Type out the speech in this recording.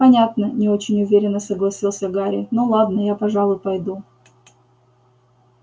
понятно не очень уверенно согласился гарри ну ладно я пожалуй пойду